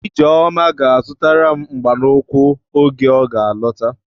Ijeọma ga-azụtaram mgba n'ụkwụ oge ọga alọta.